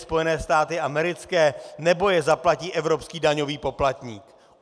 Spojené státy americké, nebo je zaplatí evropský daňový poplatník?